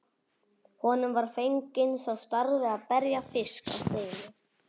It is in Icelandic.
Honum var fenginn sá starfi að berja fisk á steini.